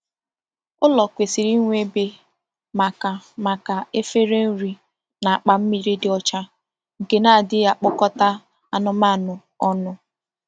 Ụlọ kwesịrị inwe ebe maka maka efere nri na akpa mmiri dị ọcha, nke na-adịghị agbakọta anụmanụ ọnụ.